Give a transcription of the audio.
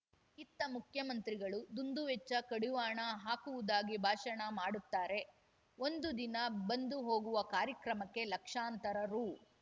ಇತ್ತ ಮುಖ್ಯಮಂತ್ರಿಗಳು ದುಂದುವೆಚ್ಚ ಕಡಿವಾಣ ಹಾಕುವುದಾಗಿ ಭಾಷಣ ಮಾಡುತ್ತಾರೆ ಒಂದು ದಿನ ಬಂದು ಹೊಗುವ ಕಾರ್ಯಕ್ರಮಕ್ಕೆ ಲಕ್ಷಾಂತರ ರು